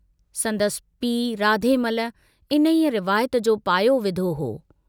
संदसि पीउ राधेमल, इन्हीअ रिवायत जो पायो विधो हो।